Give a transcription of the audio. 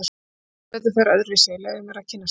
Þú ert sem betur fer öðruvísi, leyfðu mér að kynnast þér.